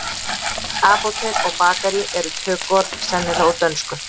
Apótek og bakarí eru tökuorð sennilegast úr dönsku.